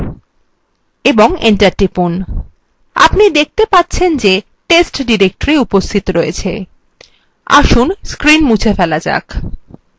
আপনি দেখতে পাচ্ছেন যে test directory উপস্থিত রয়েছে আসুন screen মুছে ফেলা যাক